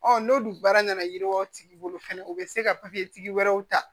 n'olu baara nana yiriwa tigi bolo fɛnɛ u bɛ se ka tigi wɛrɛw ta